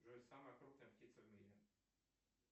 джой самая крупная птица в мире